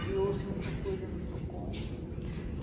Criou-se muita coisa no Procon.